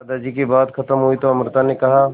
दादाजी की बात खत्म हुई तो अमृता ने कहा